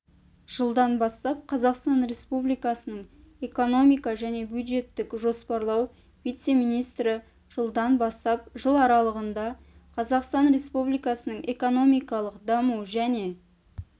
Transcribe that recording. жылдан бастап қазақстан республикасының экономика және бюджеттік жоспарлау вице-министрі жылдан бастап жыларалығында қазақстан республикасының экономикалық даму және